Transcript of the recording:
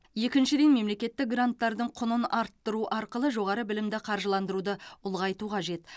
екіншіден мемлекеттік гранттардың құнын арттыру арқылы жоғары білімді қаржыландыруды ұлғайту қажет